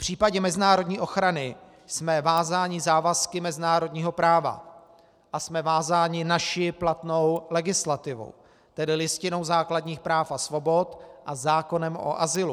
V případě mezinárodní ochrany jsme vázáni závazky mezinárodního práva a jsme vázáni naší platnou legislativou, tedy Listinou základních práv a svobod a zákonem o azylu.